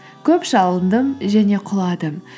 көп шалындым және құладым